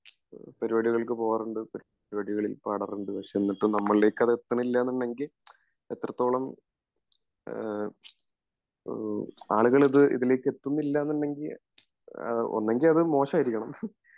പരിപാടികൾക്ക് പോകാറുണ്ട്